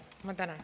Ma tänan.